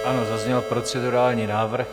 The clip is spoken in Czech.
Ano, zazněl procedurální návrh.